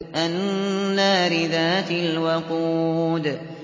النَّارِ ذَاتِ الْوَقُودِ